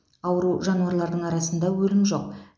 ауру жануарлардың арасында өлім жоқ